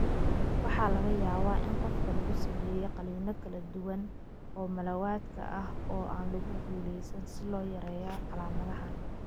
Waxaa laga yaabaa in qofka lagu sameeyay qaliino kala duwan oo malawadka ah oo aan lagu guulaysan si loo yareeyo calaamadahan.